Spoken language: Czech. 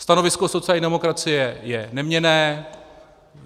Stanovisko sociální demokracie je neměnné.